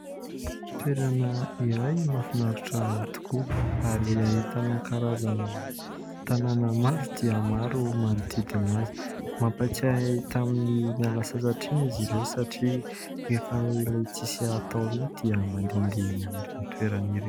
Toerana iray mahafinaritra tokoa, ary ahitana karazana tanàna maro dia maro manodidina azy. Mampatsiahy ahy tamin'ny niala sasatra iny izy ireo satria, rehefa ilay tsy misy atao iny dia mandehandeha eny amin'ireny toerana ireny.